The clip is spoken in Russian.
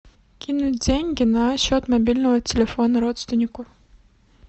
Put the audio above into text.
кинуть деньги на счет мобильного телефона родственнику